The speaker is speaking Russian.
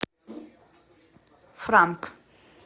франк